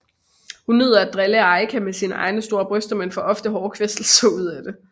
Hun nyder at drille Aika med sine egne store bryster men får ofte hårde kvæstelser ud af det